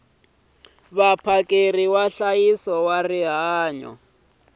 vaphakeri va nhlayiso wa rihanyo